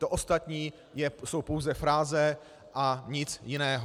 To ostatní jsou pouze fráze a nic jiného.